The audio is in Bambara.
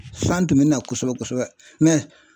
San tun bɛ na kosɛbɛ kosɛbɛ